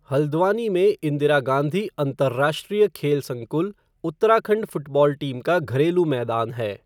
हल्द्वानी में इंदिरा गांधी अंतर्राष्ट्रीय खेल संकुल उत्तराखंड फ़ुटबॉल टीम का घरेलू मैदान है।